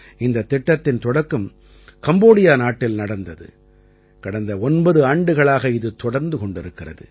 இந்தத் திட்டத்தின் தொடக்கம் கம்போடியா நாட்டில் நடந்தது கடந்த 9 ஆண்டுகளாக இது தொடர்ந்து கொண்டிருக்கிறது